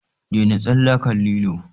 Daina tsalle akan lilo!